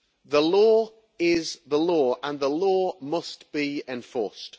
The law is the law, and the law must be enforced.